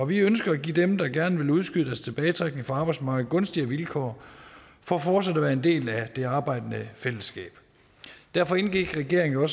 vi ønsker at give dem der gerne vil udskyde deres tilbagetrækning fra arbejdsmarkedet gunstigere vilkår for fortsat at være en del af det arbejdende fællesskab derfor indgik regeringen og